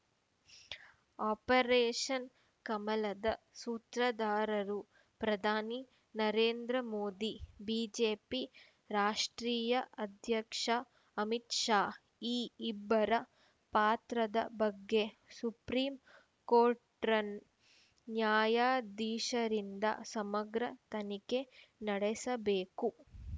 operation ಕಮಲದ ಸೂತ್ರದಾರರು ಪ್ರಧಾನಿ ನರೇಂದ್ರ ಮೋದಿ ಬಿಜೆಪಿ ರಾಷ್ಟ್ರೀಯ ಅಧ್ಯಕ್ಷ ಅಮಿತ್‌ ಶಾ ಈ ಇಬ್ಬರ ಪಾತ್ರದ ಬಗ್ಗೆ ಸುಪ್ರೀಂ ಕೋಟ್‌ರ್‍ನ ನ್ಯಾಯಾಧೀಶರಿಂದ ಸಮಗ್ರ ತನಿಖೆ ನಡೆಸಬೇಕು